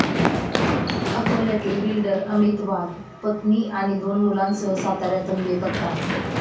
अकोल्यातील बिल्डर अमित वाघ पत्नी आणि दोन मुलांसह साताऱ्यातून बेपत्ता